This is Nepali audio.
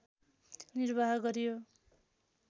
निर्वाह गरियो